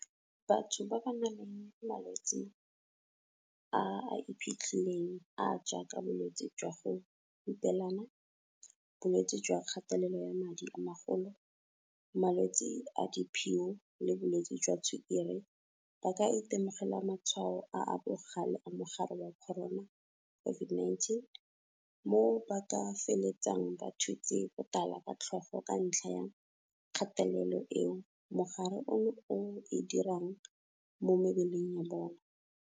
Batho ba ba nang le malwetse a a iphitlhileng a a jaaka bolwetse jwa go hupelana, bolwetse jwa kgatelelo ya madi a magolo, malwetse a diphio le bolwetse jwa tshukiri ba ka itemogela matshwao a a bogale a mogare wa corona, COVID-19, mo ba ka feletsang ba thutse botala ka tlhogo ka ntlha ya kgatelelo eo mogare ono o e dirang mo mebeleng ya bona.